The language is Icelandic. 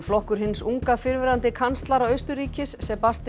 flokkur hins unga fyrrverandi kanslara Austurríkis